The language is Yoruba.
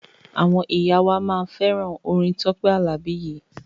Àwọn ìyá wa máa fẹ́ràn orin Tọ́pẹ́ Àlàbí yìí.